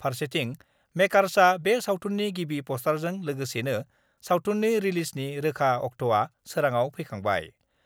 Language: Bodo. फारसेथिं मेकार्सआ बे सावथुननि गिबि पस्टारजों लोगोसेनो सावथुननि रिलिजनि रोखा अक्ट'आ सोराङाव फैखांबाय।